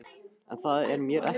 En það er mér ekki nóg.